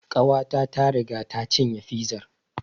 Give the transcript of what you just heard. Ƙawata ta riga ta cinye fizar